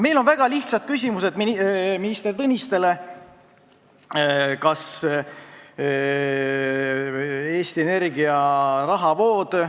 Meil on minister Tõnistele väga lihtsad küsimused.